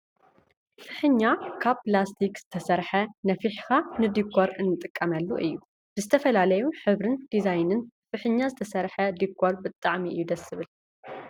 ፍሕኛ ካብ ፕላስቲክ ዝተሰረሓ ነፍሒካ ንዲኮር እንትቀመሉ እዩ ። ብዝተፈላለዩ ሕብርን ዲዛይንን ብፍሕኛ ዝተሰረሓ ዲኮር ብጣዕሚ እዩ ደስ ዝብል ።